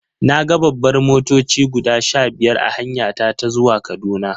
Na ga babbar motoci guda sha biyar a hanyata ta zuwa Kaduna.